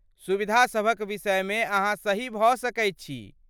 सुविधासभक विषयमे अहाँ सही भऽ सकैत छी।